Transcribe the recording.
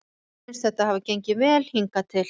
Mér finnst þetta hafa gengið vel hingað til.